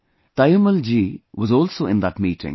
Taimmal ji was also in that meeting